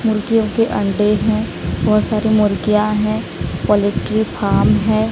मुर्गियों के अंडे हैं बहोत सारी मुर्गियां हैं पोलेट्री फार्म है।